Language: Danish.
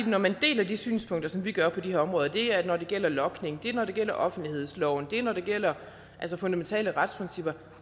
når man deler de synspunkter som vi gør på de her områder det er når det gælder logning det er når det gælder offentlighedsloven og det er når det gælder fundamentale retsprincipper